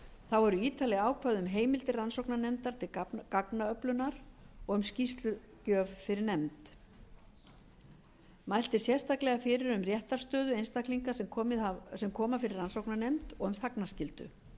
þá eru ítarleg ákvæði um heimildir rannsóknarnefndar til gagnaöflunar og um skýrslugjöf fyrir nefnd mælt er sérstaklega fyrir um réttarstöðu einstaklinga sem koma fyrir rannsóknarnefnd og um þagnarskyldu